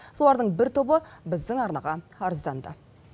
солардың бір тобы біздің арнаға арызданды